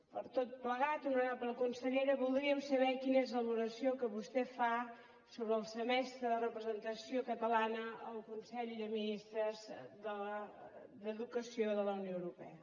per tot plegat honorable consellera voldríem saber quina és la valoració que vostè fa sobre el semestre de representació catalana al consell de ministres d’educació de la unió europea